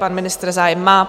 Pan ministr zájem má.